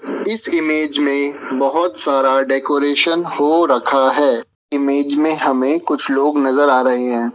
इस इमेज में बहोत सारा डेकोरेशन हो रखा है इमेज में हमें कुछ लोग नजर आ रहे हैं।